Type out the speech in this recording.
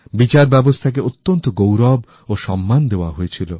বিচার ব্যবস্থাকে অত্যন্ত গৌরব ও সম্মান দেওয়া হয়েছিল